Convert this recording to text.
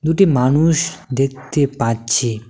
মানুষ দেখতে পাচ্ছি।